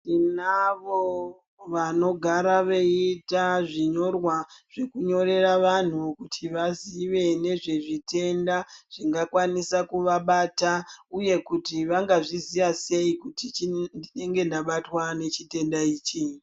Tinavo vanogara vachiita zvinyorwa zvekunyorera vanhu kuti vazive nezvezvitenda zvingakwnisa kuvabata uye kuti vanga zviziva sei kuti ndinenge ndabatwa nechitenda ichi